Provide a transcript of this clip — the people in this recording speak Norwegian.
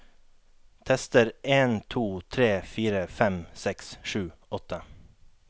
Tester en to tre fire fem seks sju åtte